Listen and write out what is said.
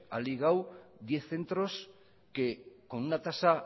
ha ligado diez centros que con una tasa